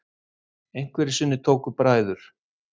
Einhverju sinni tóku bræður